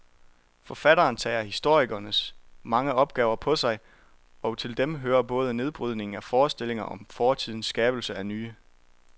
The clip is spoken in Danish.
Forfatteren tager historikerens mange opgaver på sig, og til dem hører både nedbrydningen af forestillinger om fortiden skabelsen af nye.